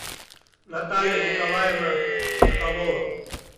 наталья николаевна соколова